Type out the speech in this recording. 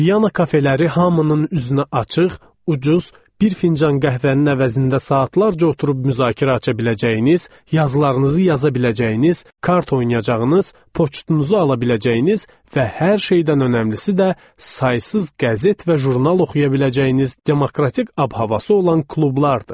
Viana kafeləri hamının üzünə açıq, ucuz, bir fincan qəhvənin əvəzində saatlarca oturub müzakirə aça biləcəyiniz, yazılarınızı yaza biləcəyiniz, kart oynayacağınız, poçtunuzu ala biləcəyiniz və hər şeydən önəmlisi də saysız qəzet və jurnal oxuya biləcəyiniz demokratik ab-havası olan klublardır.